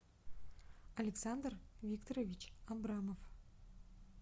александр викторович абрамов